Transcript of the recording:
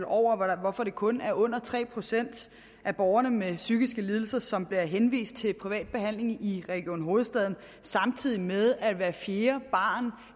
over hvorfor det kun er under tre procent af borgerne med psykiske lidelser som bliver henvist til privat behandling i region hovedstaden samtidig med at hver fjerde barn